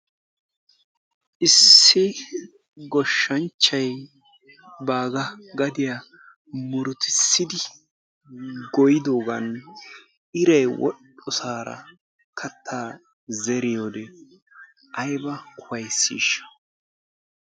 issi goshshanchchay baaga gadiya murutissidi goyyidoogana iraay woxxoosaara kattaa zeriyoorin aybba ufayssishsha!